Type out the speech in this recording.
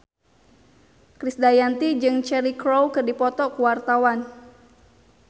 Krisdayanti jeung Cheryl Crow keur dipoto ku wartawan